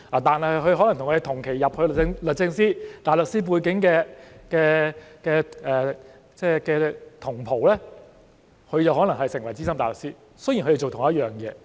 但是，與我們同期加入律政司但有大律師背景的同袍就可能成為資深大律師——雖然他們做相同的工作。